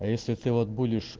а если ты вот будешь